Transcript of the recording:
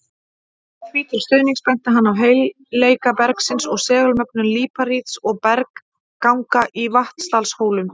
Því til stuðnings benti hann á heilleika bergsins og segulmögnun líparíts og bergganga í Vatnsdalshólum.